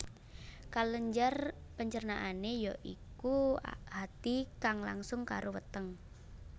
Kelenjar pencernaané ya iku hati kang langsung karo weteng